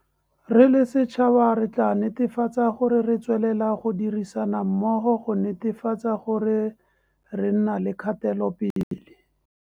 Re le setšhaba, tla re nete fatseng gore re tswelela go dirisana mmogo go netefatsa gore re nna le kgatelopele.